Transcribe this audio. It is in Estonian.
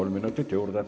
Kolm minutit juurde.